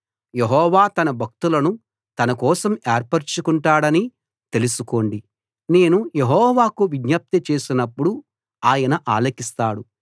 యెహోవా తన భక్తులను తన కోసం ఏర్పరచుకుంటాడని తెలుసుకోండి నేను యెహోవాకు విజ్ఞప్తి చేసినప్పుడు ఆయన ఆలకిస్తాడు